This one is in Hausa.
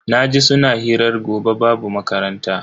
Naji suna hirar gobe babu makaranta.